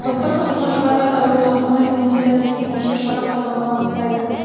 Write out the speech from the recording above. отбасы құрған жұбайлар да ауруы асқынып иммунитеті әлсірегенше шара қолдануға асықпайды